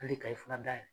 Hali kayi fura dayɛlɛ